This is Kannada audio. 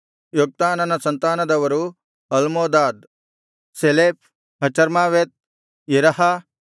ಯೋಕ್ತಾನನ ಸಂತಾನದವರು ಅಲ್ಮೋದಾದ್ ಶೆಲೆಫ್ ಹಚರ್ಮಾವೆತ್ ಯೆರಹ